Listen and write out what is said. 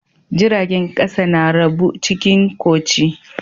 Jiragen kasa na rabu cikin koci.